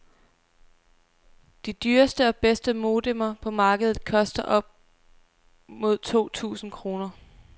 De dyreste og bedste modemer på markedet koster op mod to tusind kroner.